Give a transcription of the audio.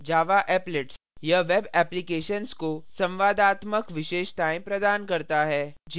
java applets: यह web applications को संवादात्मक विशेषताएँ प्रदान करता है